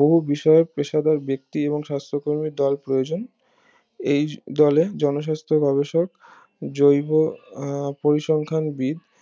বহু বিষয়ক পেশাদার ব্যক্তি এবং সাস্থকর্মী দল প্রয়োজন এই দিলে জনস্বাস্থ ব্যাবসাক জৈব আহ পরিসংখ্যান বিদ